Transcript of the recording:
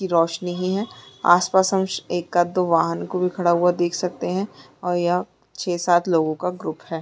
की रोशनी ही है। आसपास हम एकाद दो वाहन को भी खड़ा हुआ देख सकते है और यह छै सात लोग का ग्रुप है।